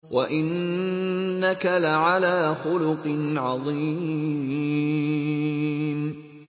وَإِنَّكَ لَعَلَىٰ خُلُقٍ عَظِيمٍ